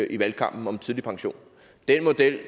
i valgkampen om tidlig pension den model